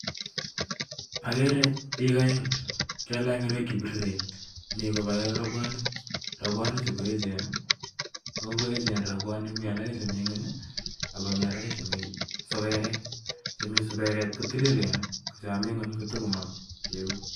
Akere biik oeng' chekalach ngoroik chebiriren, mi kobale robwonik, robwonik chu koechen oo ngoechen robwonik komi alake chemi ng'wony ak komi alak chemi suberet, chemi suberet kotililen, chomi ng'wony kotomo kiun.